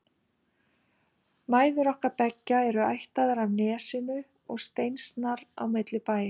Mæður okkar beggja eru ættaðar af Nesinu og steinsnar á milli bæja.